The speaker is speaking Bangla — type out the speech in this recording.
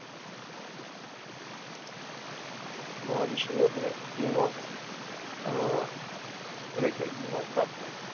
মহাবিশ্বের ব্যাপারে দ্বিমত আহ রেখে দ্বিমত রাখেন